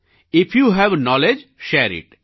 if you have knowledge share it